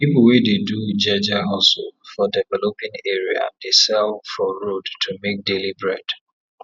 people wey dey do jeje hustle for developing area dey sell for road to make daily bread